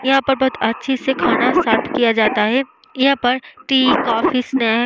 यहाँ पर बोहोत अच्छे से खाना सर्वे किया जाता है। यहाँ पर टी कॉफी स्नैक --